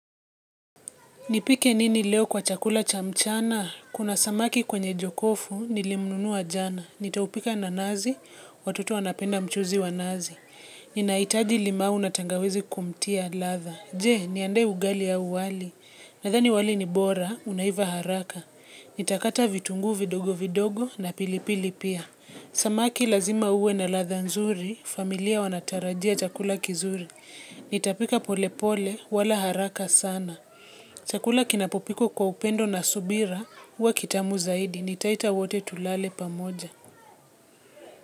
Nipike nini leo kwa chakula cha mchana? Kuna samaki kwenye jokofu, nilimnunuwa jana. Nitaupika na nazi, watoto wanapenda mchuzi wa nazi. Ninaitaji limau na tangawizi kumtia latha. Je, niendee ugali au wali. Nathani wali ni bora, unaiva haraka. Nitakata vitunguu vidogo vidogo na pilipili pia. Samaki lazima uwe na latha nzuri, familia wanatarajia chakula kizuri. Nitapika pole pole, wala haraka sana. Chakula kinapopikwa kwa upendo na subira huwa kitamu zaidi nitaita wote tulale pamoja.